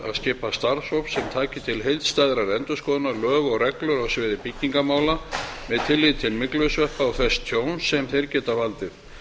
skipa starfshóp sem taki til heildstæðrar endurskoðunar lög og reglur á sviði byggingarmála með tilliti til myglusveppa og þess tjóns sem þeir geta valdið